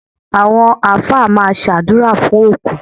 Àwọn Alfa máa ṣàdúrà fún òkú.